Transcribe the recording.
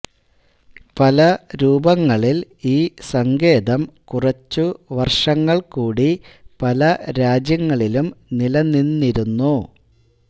പല രൂപങ്ങളിൽ ഈ സങ്കേതം കുറച്ചു വർഷങ്ങൾ കൂടി പല രാജ്യങ്ങളിലും നില നിന്നിരുന്നു